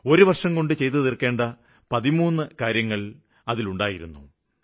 ഒരു വര്ഷംകൊണ്ട് ചെയ്തുതീര്ക്കേണ്ട 13 കാര്യങ്ങള് ഉണ്ടായിരുന്നു